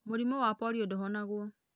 Mũrimũ wa polio ndũhonagwo.